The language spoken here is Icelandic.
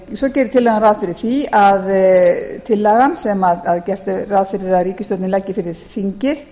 svo gerir tillagan ráð fyrir því að tillagan sem gert er að fyrir að ríkisstjórnin leggi fyrir þingið